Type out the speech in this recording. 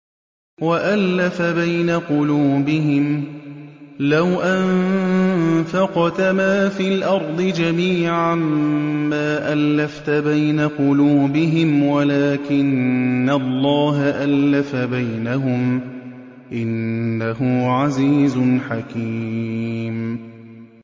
وَأَلَّفَ بَيْنَ قُلُوبِهِمْ ۚ لَوْ أَنفَقْتَ مَا فِي الْأَرْضِ جَمِيعًا مَّا أَلَّفْتَ بَيْنَ قُلُوبِهِمْ وَلَٰكِنَّ اللَّهَ أَلَّفَ بَيْنَهُمْ ۚ إِنَّهُ عَزِيزٌ حَكِيمٌ